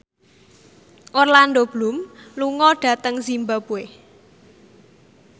Orlando Bloom lunga dhateng zimbabwe